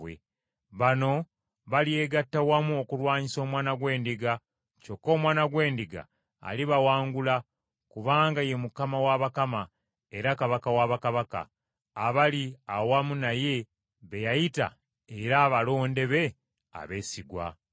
Bano balyegatta wamu okulwanyisa Omwana gw’Endiga, kyokka Omwana gw’Endiga alibawangula kubanga ye Mukama wa bakama era Kabaka wa bakabaka, abali awamu naye be yayita era abalonde be abeesigwa.”